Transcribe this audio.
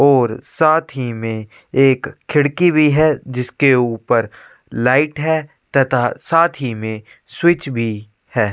और साथ ही में एक खिड़की भी है जिसके ऊपर लाइट है तथा साथ ही में स्विच भी है।